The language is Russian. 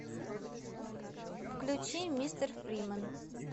включи мистер фримен